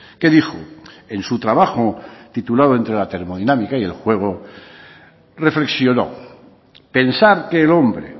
que dijo en su trabajo titulado entre la termodinámica y el juego reflexionó pensar que el hombre